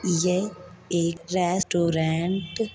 ये एक रेस्टोरैंट --